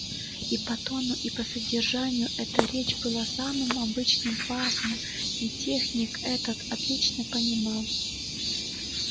и по тону и по содержанию эта речь была самым обычным фарсом и техник это отлично понимал